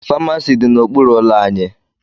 Famasi dị n'okpuru ụlọ anyị